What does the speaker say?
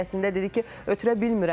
Əslində dedi ki, ötürə bilmirəm.